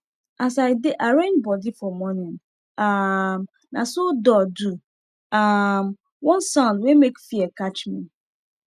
as i dey arrange bodi for morning um naso door do um one sound wey make fear catch me